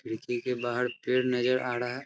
खिड़की के बाहर पेड़ नज़र आ रहा है।